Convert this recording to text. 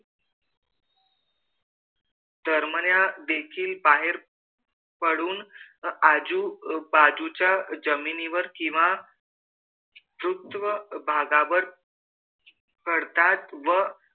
दरम्यान देखील बाहेर पडून आजूबाजूच्या जमिनीवर किंवा पृष्ठभागावर पडतात व,